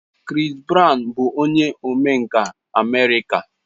Chris Brown bụ onye omenkà America.